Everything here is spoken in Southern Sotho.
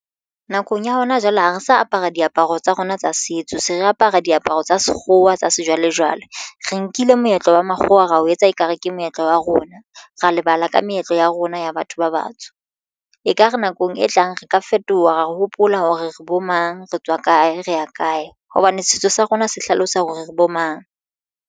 Nakong ya hona jwale ha re sa apara diaparo tsa rona tsa setso se re apara diaparo tsa sekgowa tsa sejwalejwale. Re nkile moetlo wa makgowa ra o etsa ekare ke moetlo wa rona ra lebala ka meetlo ya rona ya batho ba batsho ekare nakong e tlang re ka fetoha re hopola hore re bo mang retswa kae re ya kae hobane setso sa rona se hlalosa hore re bo mang.